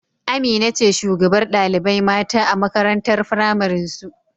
Amina ce shugabar ɗalibai mata a makarantar pramarin su